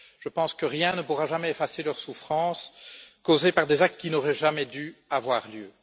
Je pense que rien ne pourra jamais effacer leurs souffrances causées par des actes qui n'auraient jamais dû avoir lieu.